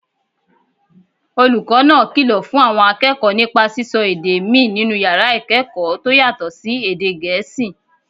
Olùkọ́ náà kìlọ̀ fún àwọn akẹ́kọ̀ọ́ nípa sísọ èdè míì nínú yàrá ìkẹ́kọ̀ọ́ tó yàtọ̀ sí èdè Gẹ̀ẹ́sì